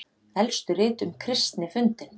Elstu rit um kristni fundin